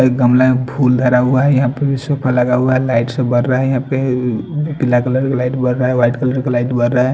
एक गमला में फूल धारा हुआ है यहां पे सोफा लगा हुआ है लाइट्स सब बर रहा है यहां पे पीला कलर का लाइट बर रहा है वाइट कलर का लाइट बर रहा है।